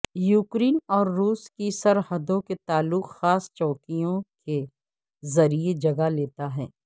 Ukraine اور روس کی سرحدوں کے تعلق خاص چوکیوں کے ذریعے جگہ لیتا ہے